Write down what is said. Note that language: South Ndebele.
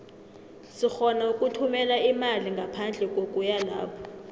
sirhona ukuthumela imali ngaphandle kokuya lapho